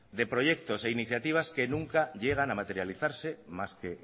de proyectos e iniciativas que nunca llegan a materializarse más que